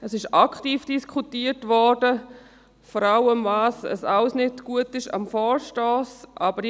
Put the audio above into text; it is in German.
Es ist aktiv diskutiert worden, vor allem darüber, was alles an diesem Vorstoss nicht gut sei.